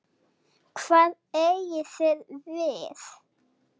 Hvað eigið þið við?